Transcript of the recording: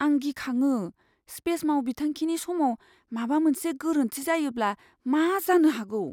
आं गिखाङो, स्पेस मावबिथांखिनि समाव माबा मोनसे गोरोन्थि जायोब्ला मा जानो हागौ!